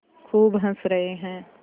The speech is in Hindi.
खूब हँस रहे हैं